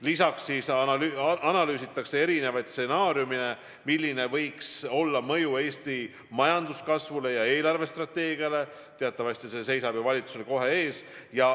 Lisaks analüüsitakse erinevaid stsenaariume, milline võiks olla mõju Eesti majanduskasvule ja eelarvestrateegiale – teatavasti selle arutelu seisab ju valitsusel kohe ees.